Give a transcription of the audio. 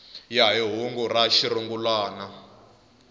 ya hi hungu ra xirungulwana